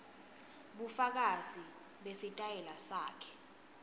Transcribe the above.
bufakazi besitayela sakhe